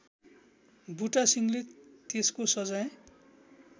बुटासिंहले त्यसको सजाय